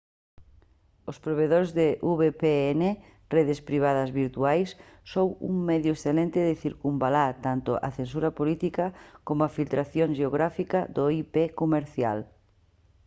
os provedores de vpn redes privadas virtuais son un medio excelente de circunvalar tanto a censura política coma a filtración xeográfica do ip comercial